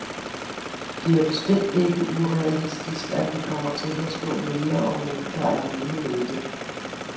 Det er bestemt ikke urealistisk, at vi kommer til at stå mere eller mindre alene med det.